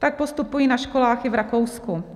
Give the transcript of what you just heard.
Tak postupují i na školách v Rakousku.